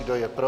Kdo je pro?